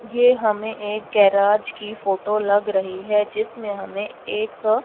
ये हमे एक गैराज की फोटो लग रही है जिसमे हमे एक--